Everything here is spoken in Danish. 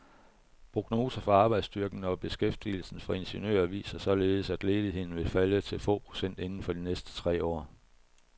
Prognoser for arbejdsstyrken og beskæftigelsen for ingeniører viser således, at ledigheden vil falde til få procent inden for de næste tre år.